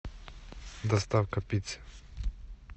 доставка пиццы